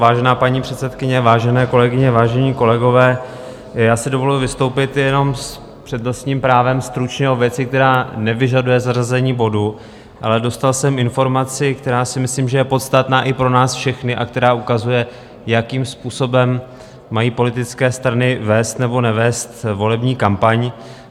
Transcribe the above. Vážená paní předsedkyně, vážené kolegyně, vážení kolegové, já si dovoluji vystoupit jenom s přednostním právem stručně o věci, která nevyžaduje zařazení bodu, ale dostal jsem informaci, která si myslím, že je podstatná i pro nás všechny a která ukazuje, jakým způsobem mají politické strany vést nebo nevést volební kampaň.